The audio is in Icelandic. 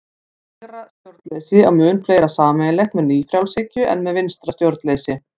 Hægra stjórnleysi á mun fleira sameiginlegt með nýfrjálshyggju en með vinstra stjórnleysi.